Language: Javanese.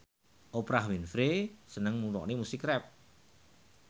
Oprah Winfrey seneng ngrungokne musik rap